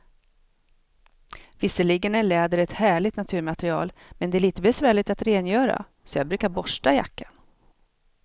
Visserligen är läder ett härligt naturmaterial, men det är lite besvärligt att rengöra, så jag brukar borsta jackan.